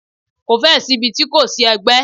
Ko fẹ́ ẹ̀ sí ibi ti kò ti sí ẹgbẹ́.